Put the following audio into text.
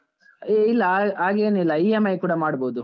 ಇಲ್ಲ ಹಾಗೇನಿಲ್ಲ, EMI ಕೂಡ ಮಾಡ್ಬೋದು.